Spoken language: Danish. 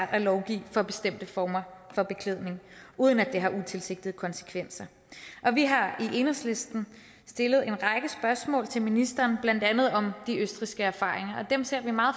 at lovgive om bestemte former for beklædning uden at det har utilsigtede konsekvenser vi har i enhedslisten stillet en række spørgsmål til ministeren blandt andet om de østrigske erfaringer og dem ser vi meget